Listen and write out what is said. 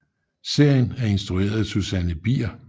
Serien er instrueret af Susanne Bier